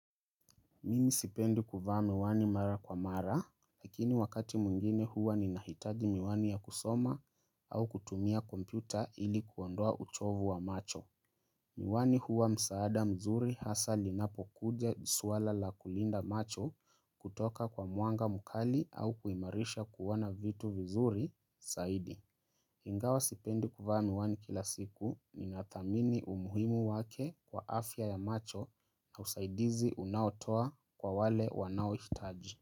Mimi sipendi kuvaa miwani mara kwa mara, lakini wakati mwingine huwa ninahitaji miwani ya kusoma au kutumia kompyuta ili kuondoa uchovu wa macho. Miwani huwa msaada mzuri hasa linapokuja swala la kulinda macho kutoka kwa mwanga mkali au kuimarisha kuona vitu vizuri, saidi. Ingawa sipendi kuvaa miwani kila siku ninadhamini umuhimu wake kwa afya ya macho na usaidizi unaotoa kwa wale wanaouhitaji.